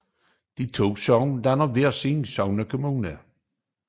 De to sogne dannede hver sin sognekommune